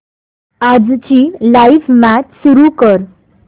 आजची live match सुरू कर